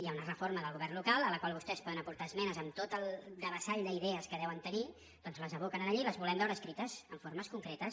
hi ha una reforma del govern local a la qual vostès poden aportar esmenes amb tot el devessall d’idees que deuen tenir doncs les aboquen allí les volem veure escrites en formes concretes